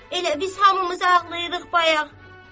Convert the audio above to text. Elə biz hamımız ağlayırıq bayaq.